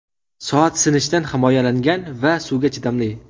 Soat sinishdan himoyalangan va suvga chidamli.